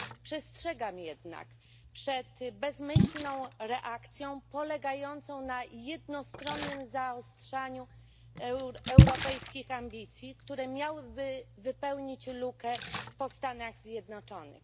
Przestrzegam jednak przed bezmyślną reakcją polegającą na jednostronnym zawyżaniu europejskich ambicji, które miałyby wypełnić lukę po Stanach Zjednoczonych.